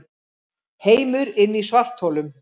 Heimur inni í svartholum